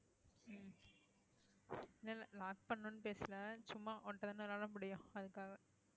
இல்லை இல்லை lock பண்ணணும்ன்னு பேசலை சும்மா உன்ட்ட தான விளையாட முடியும் அதுக்காக